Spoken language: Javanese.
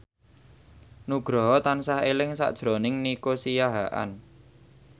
Nugroho tansah eling sakjroning Nico Siahaan